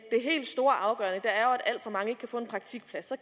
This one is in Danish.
alt for mange ikke kan få en praktikplads